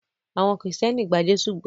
Awon Kristẹni gba Jésụ gbó.